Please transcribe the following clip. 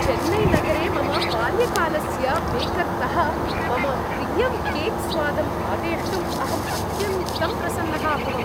चेन्नैनगरे मम बाल्यकालस्य बेकर्तः मम प्रियं केक् स्वादम् आदेष्टुम् अहम् अत्यन्तं प्रसन्नः अभवम्।